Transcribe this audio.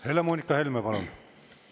Helle-Moonika Helme, palun!